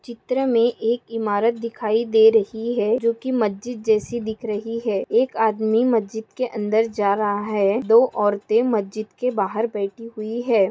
चित्र मे एक इमारत दिखाई दे रही है जो की मस्जिद जैसी दिख रही है एक आदमी मस्जिद के अंदर जा रहा है दो औरते मस्जिद के बाहर बैठी हुई है।